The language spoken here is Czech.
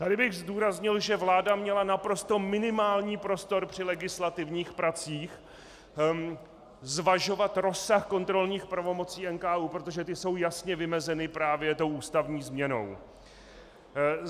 Tady bych zdůraznil, že vláda měla naprosto minimální prostor při legislativních pracích zvažovat rozsah kontrolních pravomocí NKÚ, protože ty jsou jasně vymezeny právě tou ústavní změnou.